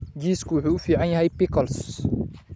Jiisku wuxuu u fiican yahay pickles.